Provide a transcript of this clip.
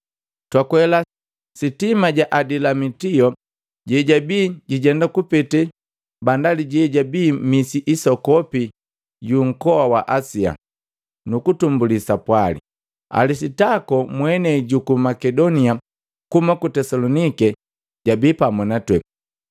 Twakwela sitima la Adilamitio, lelabii lijenda kupete bandali jejabi misi isokopi yu nkowa wa Asia, nuku tumbuli sapwali. Alisitako, mwenei juku Makedonia kuhuma ku Tesalonike, jabii pamu natwee.